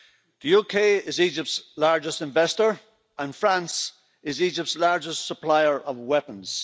The UK is Egypt's largest investor and France is Egypt's largest supplier of weapons.